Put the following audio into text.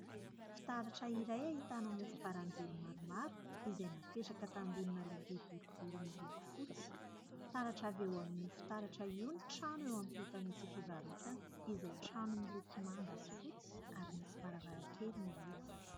Fitaratra iray ahitana mofo baranjely maromaro izay napetraka tambony lovia boribory miloko fotsy. Taratra avy eo amin'io fitaratra io ny trano eo ampitan'ity fivarotana izay trano miloko manga sy fotsy ary misy varavarankely mihidy.